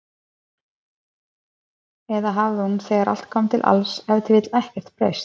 Eða hafði hún, þegar allt kom til alls, ef til vill ekkert breyst?